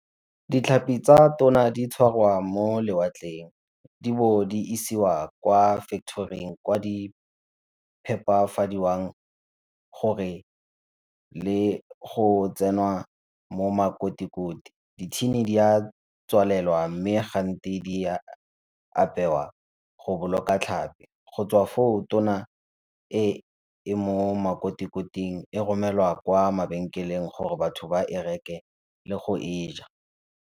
Ditlhapi tsa tona di tshwarwa mo lewatleng e bo di isiwa kwa factory-ing kwa di phepafadiwang gore le go tsenwa mo makotikoti. Dithini di a tswalelwa mme di a apewa go boloka tlhapi. Go tswa foo tona e e mo makotikoting e romelwa kwa mabenkeng gore batho ba e reke le go e ja.